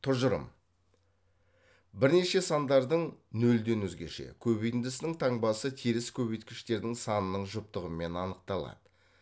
тұжырым бірнеше сандардың нөлден өзгеше көбейтіндісінің таңбасы теріс көбейткіштердің санының жұптығымен анықталады